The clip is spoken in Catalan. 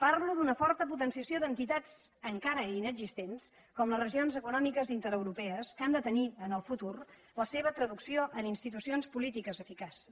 parlo d’una forta potenciació d’entitats encara inexistents com les regions econòmiques intereuropees que han de tenir en el futur la seva traducció en institucions polítiques eficaces